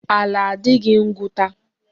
Ala adịghị ngụta.